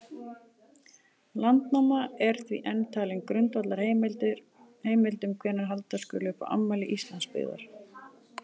Landnáma er því enn talin grundvallarheimild um hvenær halda skuli upp á afmæli Íslandsbyggðar.